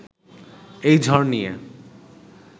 এই ঝড় নিয়ে